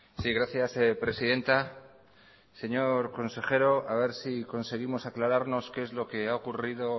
sí gracias presidenta señor consejero a ver si conseguimos aclararnos qué es lo que ha ocurrido